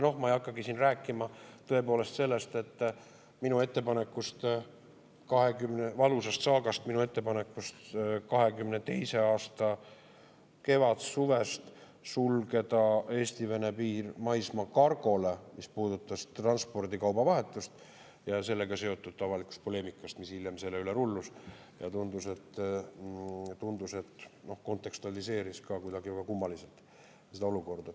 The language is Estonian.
Ma ei hakkagi siin rääkima tõepoolest sellest valusast saagast, minu ettepanekust 2022. aasta kevadsuvest sulgeda Eesti-Vene piir maismaakargole, mis puudutas kaubatransporti, ja sellega seotud avalikust poleemikast, mis hiljem selle üle rullus ja tundus, et kontekstualiseeris kuidagi kummaliselt seda olukorda.